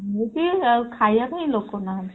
ମୁଁ ବି ଖାଇବା ପାଇଁ ଲୋକ ନାହାନ୍ତି।